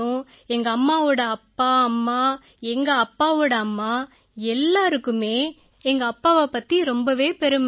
எங்கம்மாவோட அப்பா அம்மா எங்க அப்பாவோட அம்மா எல்லாருக்குமே எங்கப்பாவைப் பத்தி ரொம்பவே பெருமை